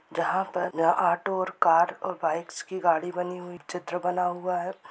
जहाँ पर जहाँ ऑटो और कार और बाइक्स की गाड़ी बनी हुई चित्र बना हुआ है।